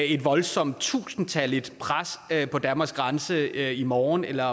et voldsomt tusindtalligt pres på danmarks grænse i morgen eller